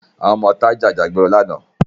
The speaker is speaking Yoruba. Àwọn ọmọ ìta ja ìjà ìgboro lánàá